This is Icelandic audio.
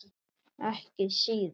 Ekki síðar.